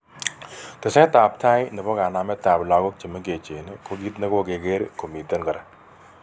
Tsetap tai nepo kanamet ap logok chemengech ko kit negokeger komiten kora.